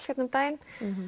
hérna um daginn